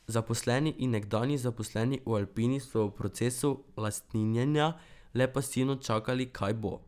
Zaposleni in nekdanji zaposleni v Alpini so v procesu lastninjenja le pasivno čakali, kaj bo.